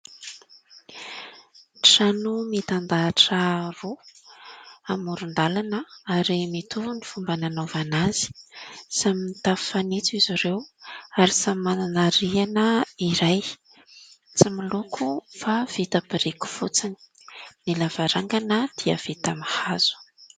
Trano mitandahatra roa amoron-dalana ; ary mitovy ny fomba nanaovana azy, samy mitafo fanitso izy ireo ary samy manana rihana iray tsy miloko fa vita amin'ny biriky fotsiny; ny lavarangana dia vita amin'ny hazo.